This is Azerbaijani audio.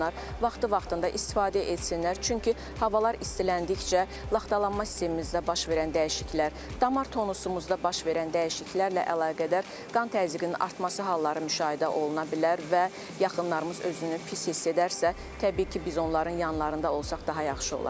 Vaxtı-vaxtında istifadə etsinlər, çünki havalar istiləndikcə laxtalanma sistemimizdə baş verən dəyişikliklər, damar tonusumuzda baş verən dəyişikliklərlə əlaqədar qan təzyiqinin artması halları müşahidə oluna bilər və yaxınlarımız özünü pis hiss edərsə, təbii ki, biz onların yanlarında olsaq daha yaxşı olar.